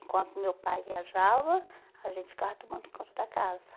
Enquanto meu pai viajava, a gente ficava tomando conta da casa.